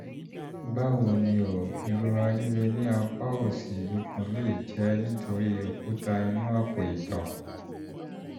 báwo ni o? ìrora líle ní apá òsì ikùn lè jẹ́ nítorí òkúta inú àpò-ìtọ̀